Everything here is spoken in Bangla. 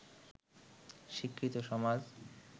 শিক্ষিত সমাজ